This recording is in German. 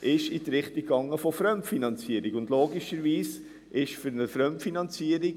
Dort ging es primär um eine Fremdfinanzierung.